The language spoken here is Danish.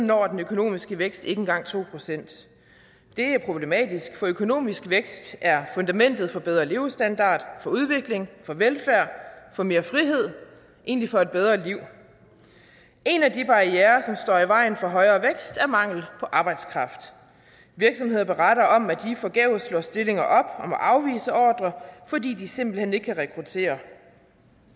når den økonomiske vækst ikke engang to procent det er problematisk for økonomisk vækst er fundamentet for bedre levestandard for udvikling for velfærd for mere frihed og egentlig for et bedre liv en af de barrierer som står i vejen for højere vækst er mangel på arbejdskraft virksomheder beretter om at de forgæves slår stillinger afvise ordrer fordi de simpelt hen ikke kan rekruttere